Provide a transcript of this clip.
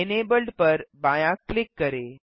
enabled पर बायाँ click करें